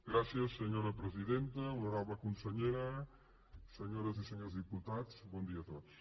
gràcies senyora presidenta honorable consellera se·nyores i senyors diputats bon dia a tots